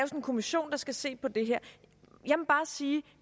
kommission der skal se på det her jeg må bare sige